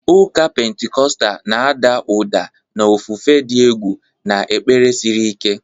Ụka Pentikọstal na-ada ụda na ofufe dị egwu na ekpere siri ike.